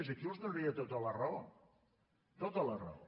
aquí els donaria tota la raó tota la raó